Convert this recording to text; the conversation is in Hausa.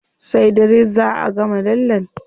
Sai dare zá a gama lallen.